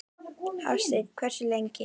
Hafsteinn: Hversu lengi?